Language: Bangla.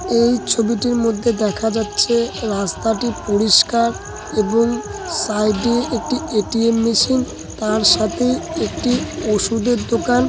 এই ছবিটির মধ্যে দেখা যাচ্ছে রাস্তাটি পরিষ্কার এবং সাইড -এ একটি এ. টি. এম. মেশিন তার সাথেই একটি ওষুধের দোকান --